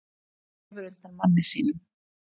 Grefur undan manni sínum